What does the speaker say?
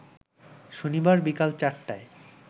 শনিবার বিকাল ৪টায়